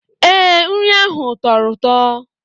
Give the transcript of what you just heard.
Ee, nri ahụ tọrọ ụtọ